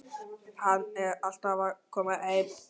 Hann er alltaf að koma heim.